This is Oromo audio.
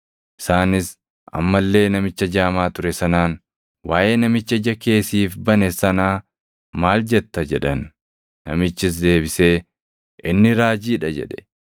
Isaanis amma illee namicha jaamaa ture sanaan, “Waaʼee namicha ija kee siif bane sanaa maal jetta?” jedhan. Namichis deebisee, “Inni raajii dha” jedhe.